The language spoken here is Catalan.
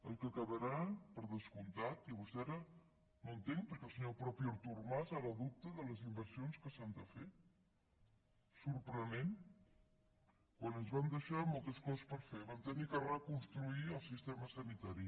el que quedarà per descomptat i vostè ara no entenc perquè el mateix artur mas ara dubta de les inversions que s’han de fer sorprenent quan ens van deixar moltes coses per fer vam haver de reconstruir el sistema sanitari